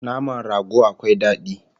Naman rago akwai dadi